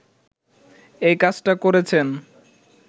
এই কাজটা করেছেন